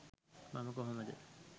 මම කොහොමද